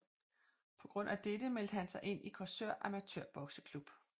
På grund af dette meldte han sig ind i Korsør Amatørbokseklub